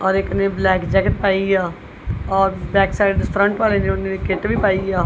ਔਰ ਇੱਕ ਨੇ ਬਲੈਕ ਜੈਕੇਟ ਪਾਈ ਆ ਔਰ ਬੈਕ ਸਾਈਡ ਦੇ ਫਰੰਟ ਵਾਲੇ ਦੇ ਉਹਨੇਂ ਵੀ ਕਿਟ ਵੀ ਪਾਈ ਆ।